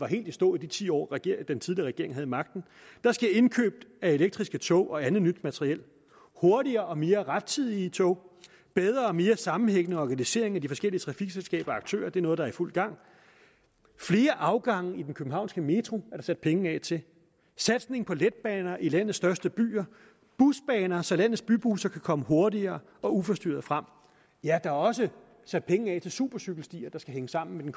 helt i stå i de ti år den tidligere regering havde magten der sker indkøb af elektriske tog og andet nyt materiel hurtigere og mere rettidige tog bedre og mere sammenhængende organisering af de forskellige trafikselskaber og aktører det er noget der er i fuld gang flere afgange i den københavnske metro er der sat penge af til satsning på letbaner i landets største byer busbaner så landets bybusser kan komme hurtigere og uforstyrret frem ja der er også sat penge af til supercykelstier der skal hænge sammen med